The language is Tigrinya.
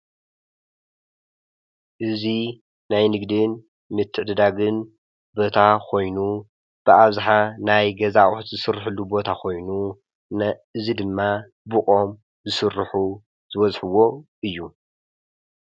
እዚ ናይ ንግድን ምትዕድዳግን ቦታ ኾይኑ ብኣብዝሓ ናይ ገዛ ኣቑሑ ዝስረሐሉ ቦታ ኾይኑ እዙይ ድማ ብኦም ዝስርሑ ዝበዝሕዎ እዩ።